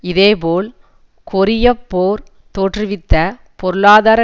இதே போல் கொரியப் போர் தோற்றுவித்த பொருளாதார